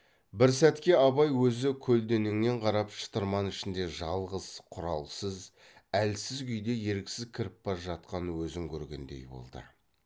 бір сәтке абай өзі көлденеңнен қарап шытырман ішіне жалғыз құралсыз әлсіз күйде еріксіз кіріп бара жатқан өзін көргендей болды